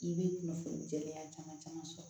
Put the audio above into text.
I bɛ kunnafoni gɛlɛya caman caman sɔrɔ